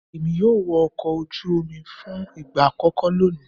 Èmi yóò wọ ọkọ̀ ojú omi fún ìgbà àkókó lónìí.